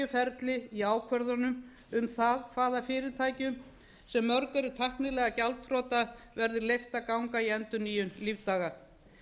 ferli í ákvörðunum um það hvaða fyrirtækjum sem mörg eru tæknilega gjaldþrota verði leyft að ganga í endurnýjun lífdaga